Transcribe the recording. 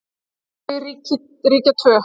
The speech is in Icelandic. Þau ríkja tvö.